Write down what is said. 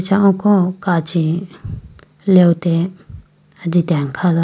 acha oko kachi lewte ajitene khaga.